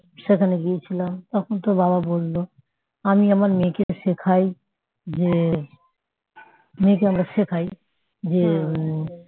সেখানে গিয়েছিলাম তখন তোর বাবা বললো আমি আমার মেয়েকে শেখাই যে মেয়েকে আমরা শেখাই যে